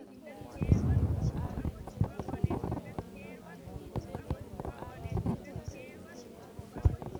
Kaimutik alaak koparuu kolee kinyoruunee chi agoi chii eng piik chetupchoo.